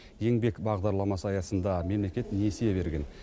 еңбек бағдарламасы аясында мемлекет несие берген